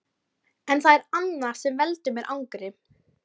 En það er annað sem veldur mér angri.